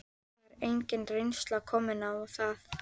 Það er engin reynsla komin á það.